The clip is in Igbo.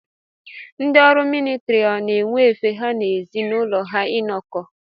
Ndị ọrụ militiri ọ na-enwe efe ha na ezi n'ụlọ ha inọkọ.